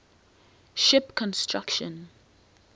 ship construction